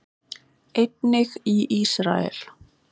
Einnig í Ísrael.